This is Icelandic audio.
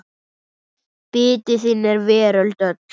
Biti þinn er veröld öll.